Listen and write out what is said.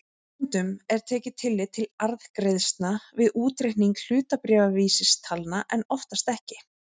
Stundum er tekið tillit til arðgreiðslna við útreikning hlutabréfavísitalna en oftast ekki.